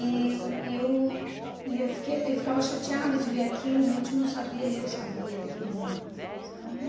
E e eu e eu fiquei eu ficava chateada de ver aquilo, meu tio não sabia e eu sabia aquilo, sabe?